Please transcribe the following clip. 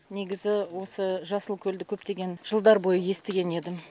негізі осы жасылкөлді көптеген жылдар бойы естіген едім